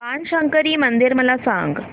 बाणशंकरी मंदिर मला सांग